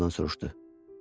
Teddi ondan soruşdu.